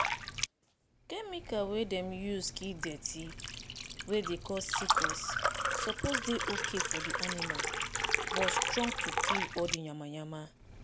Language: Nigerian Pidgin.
chemical wey dem dey use kill dirty wey dey cause sickness suppose dey okay for di animal but strong to kill all di yamayama.